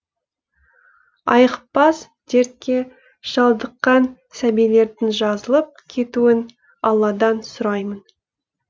айықпас дертке шалдыққан сәбилердің жазылып кетуін алладан сұраймын